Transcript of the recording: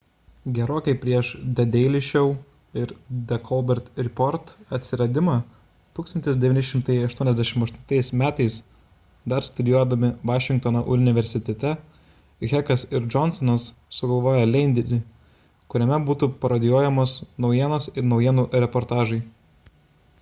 gerokai prieš the daily show ir the colbert report atsiradimą 1988 m. dar studijuodami vašingtono universitete heckas ir johnsonas sugalvojo leidinį kuriame būtų parodijuojamos naujienos ir naujienų reportažai